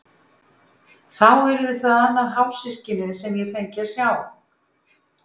Þá yrði það annað hálfsystkinið sem ég fengi að sjá.